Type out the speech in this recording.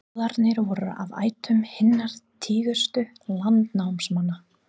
Goðarnir voru af ættum hinna tignustu landnámsmanna.